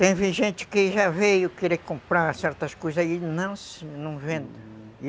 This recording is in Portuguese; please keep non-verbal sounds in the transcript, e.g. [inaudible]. Teve gente que já veio querer comprar certas coisas e [unintelligible] não vende.